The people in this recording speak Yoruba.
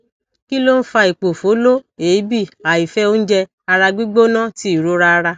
kí ló ń fa ipofolo eebì àìfẹ oúnjẹ ara gbigbona ti ìrora ara